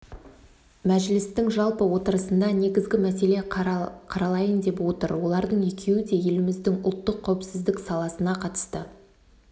мәжілістің жалпы отырысында негізгі мәселе қаралайын деп отыр олардың екеуі де еліміздің ұлттық қауіпсіздік саласына қатысты